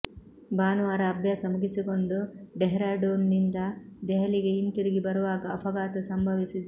ಭಾನುವಾರ ಅಭ್ಯಾಸ ಮುಗಿಸಿಕೊಂಡು ಡೆಹ್ರಾಡೂನ್ ನಿಂದ ದೆಹಲಿಗೆ ಹಿಂತಿರುಗಿ ಬರುವಾಗ ಅಪಘಾತ ಸಂಭವಿಸಿದೆ